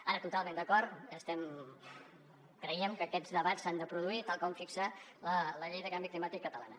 ara totalment d’acord creiem que aquests debats s’han de produir tal com fixa la llei de canvi climàtic catalana